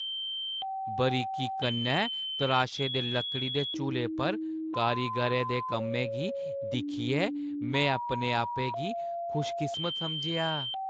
बारीकी कन्नै तराशे दे लकड़ी दे झूले पर कारीगरें दे कम्मै गी दिक्खियै में अपने आपै गी खुशकिस्मत समझेआ।